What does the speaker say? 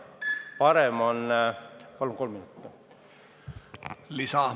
Palun kolm minutit lisaks!